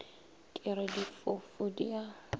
ke re difofu di a